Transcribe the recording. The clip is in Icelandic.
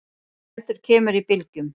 heldur kemur í bylgjum.